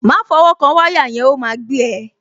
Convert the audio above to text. Má fọwọ́ kan wáyà yẹn, ó máa gbé ẹ.